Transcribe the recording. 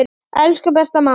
Elsku besta mamma.